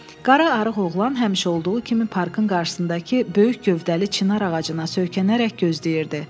Qara arıq oğlan həmişə olduğu kimi parkın qarşısındakı böyük gövdəli çinar ağacına söykənərək gözləyirdi.